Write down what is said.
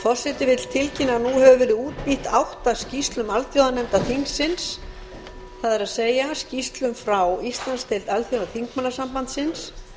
forseti vill tilkynna að nú hefur verið útbýtt átta skýrslum alþjóðanefnda þingsins það er skýrslum frá alþjóðadeild alþjóðaþingmannasambandsins